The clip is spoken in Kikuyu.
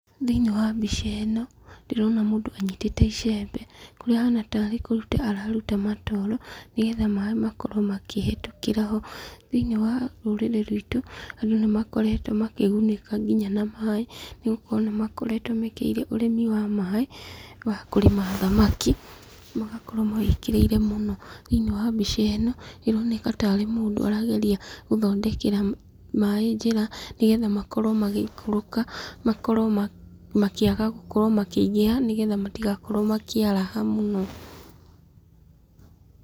Thĩinĩ wa mbica ĩno, ndĩrona mũndũ anyitĩte icembe, kũrĩa ahana tarĩ kũruta araruta matooro, nĩgetha maĩ makorwo makĩhĩtũkĩra ho. Thĩinĩ wa rũrĩrĩ rwitũ, andũ nĩ makoretwo makĩgunĩka nginya na maĩ, nĩgũkorwo nĩ makoretwo mekĩrĩire ũrĩmi wa maĩ, wa kũrĩma thamaki, magakorwo mawĩkĩrĩire mũno. Thĩinĩ wa mbica ĩno, ĩroneka tarĩ mũndũ arageria gũthondekera maĩ njĩra, nĩgetha makorwo magĩikũrũka, makorwo makĩaga gũkorwo makĩingĩha, nĩgetha matigakorwo makĩaraha mũno.